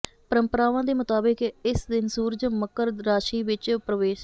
ਪਰੰਪਰਾਵਾਂ ਦੇ ਮੁਤਾਬਕ ਇਸ ਦਿਨ ਸੂਰਜ ਮਕਰ ਰਾਸ਼ੀ ਵਿੱਚ ਪਰਵੇਸ਼